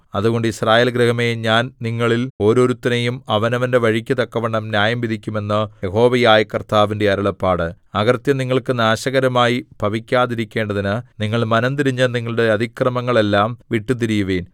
അതുകൊണ്ട് യിസ്രായേൽ ഗൃഹമേ ഞാൻ നിങ്ങളിൽ ഓരോരുത്തനെയും അവനവന്റെ വഴിക്കു തക്കവണ്ണം ന്യായംവിധിക്കും എന്ന് യഹോവയായ കർത്താവിന്റെ അരുളപ്പാട് അകൃത്യം നിങ്ങൾക്ക് നാശകരമായി ഭവിക്കാതെയിരിക്കേണ്ടതിന് നിങ്ങൾ മനംതിരിഞ്ഞ് നിങ്ങളുടെ അതിക്രമങ്ങളെല്ലാം വിട്ടുതിരിയുവിൻ